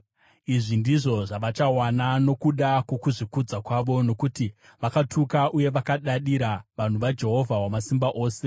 Izvi ndizvo zvavachawana nokuda kwokuzvikudza kwavo, nokuti vakatuka uye vakadadira vanhu vaJehovha Wamasimba Ose.